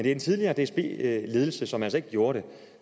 er en tidligere dsb ledelse som altså ikke gjorde det